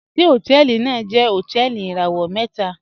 Ṣẹ̀ hotẹẹlì naa jẹ̀ hotẹẹlì irawọ̀ mẹta?